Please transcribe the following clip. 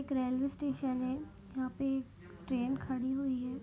एक railway station है यहां पे ट्रेन खड़ी हुई है।